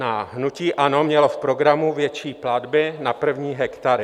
Hnutí ANO mělo v programu větší platby na první hektary.